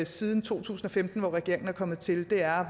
siden to tusind og femten hvor regeringen er kommet til er